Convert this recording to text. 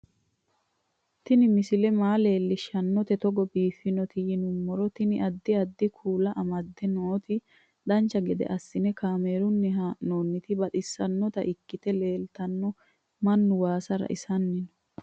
Tini misile maa leellishshannote togo biiffinoti yinummoro tini. addi addi kuula amadde nooti dancha gede assine kaamerunni haa'noonniti baxissannota ikkite leeltanno mannu waaasa raisanni no